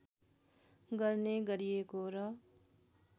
गर्ने गरिएको र